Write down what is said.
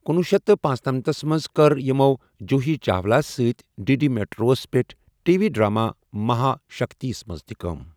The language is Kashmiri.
کُنوُہ شیتھ تہٕ پنٔژنمتھ منٛز کٔرۍ یِمَو جوہی چاولہَس سۭتۍ ڈی ڈی میٹروَس پٮ۪ٹھ ٹی وی ڈراما مہا شکتیَس منٛز تہِ کٲم۔